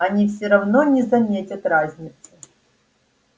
они все равно не заметят разницы